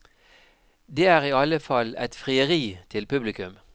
Det er i alle fall et frieri til publikum.